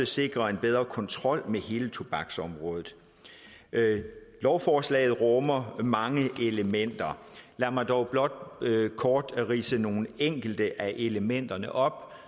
sikre en bedre kontrol med hele tobaksområdet lovforslaget rummer mange elementer lad mig dog blot kort ridse nogle enkelte af elementerne op